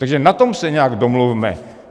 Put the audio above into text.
Takže na tom se nějak domluvme.